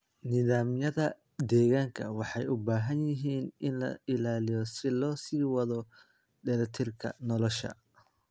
Nidaamyada deegaanka waxay u baahan yihiin in la ilaaliyo si loo sii wado dheelitirka nolosha.